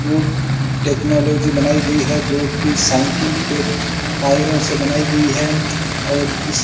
food technology बनाई गई है जो की साइकिल के टायरों से बनाई गई है और इस --